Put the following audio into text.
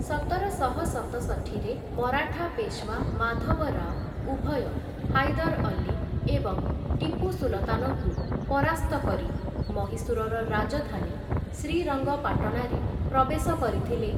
ସତରଶହ ସତଷଠିରେ ମରାଠା ପେଶୱା ମାଧବରାଓ ଉଭୟ ହାଇଦର ଅଲ୍ଲୀ ଏବଂ ଟିପୁ ସୁଲତାନଙ୍କୁ ପରାସ୍ତ କରି ମହୀଶୂରର ରାଜଧାନୀ ଶ୍ରୀରଙ୍ଗପାଟଣାରେ ପ୍ରବେଶ କରିଥିଲେ ।